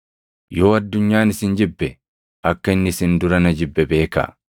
“Yoo addunyaan isin jibbe, akka inni isin dura na jibbe beekaa.